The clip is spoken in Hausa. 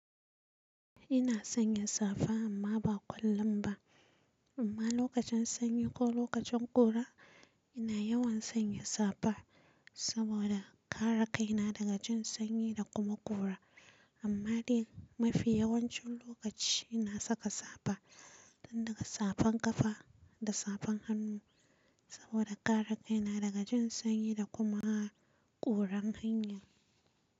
Ina sanya safa amma ba kullum ba. Amma lokacin sanyi ko lokacin ƙura, ina yawan sanya safa saboda kare kaina daga jin sanyi da kuma ƙura. Amma dai mafi yawancin lokaci ina saka safa, tun daga safan ƙafa da safan hannu saboda kare kaina daga jin sanyi da kuma ƙuran hanyar.